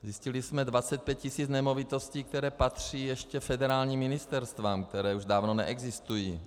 Zjistili jsme 25 tisíc nemovitostí, které patří ještě federálním ministerstvům, která už dávno neexistují.